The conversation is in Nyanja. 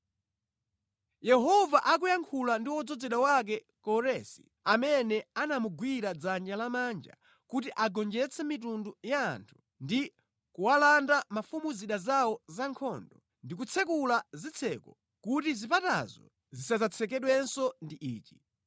Yehova akuyankhula ndi wodzozedwa wake Koresi amene anamugwira dzanja lamanja kuti agonjetse mitundu ya anthu ndi kuwalanda mafumu zida zawo zankhondo, ndi kutsekula zitseko kuti zipatazo zisadzatsekedwenso ndi ichi: